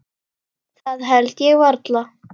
Það held ég varla.